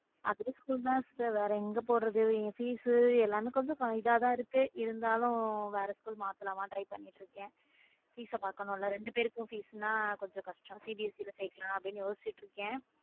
அதே school தான் sister வேற எங்க போறது இங்க fees எல்லாமே கொஞ்சம் இதா தான் இருக்கு இருந்தாலும் வேற school மாற்றலாமான்னு try பண்ணிட்டு இருக்கேன fees ஆ பாக்கணும் இல்ல ரெண்டு பேருக்கும் fees என்றால் கொஞ்சம் கஷ்டம் CBSE லேஸ் சேக்கலாம்னு யோசிச்சிட்டு இருக்கேன்.